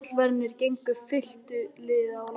Tollverðirnir gengu fylktu liði á land.